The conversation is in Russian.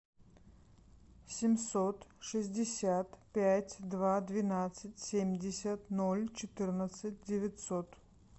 семьсот шестьдесят пять два двенадцать семьдесят ноль четырнадцать девятьсот